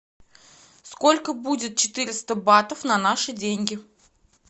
сколько будет четыреста батов на наши деньги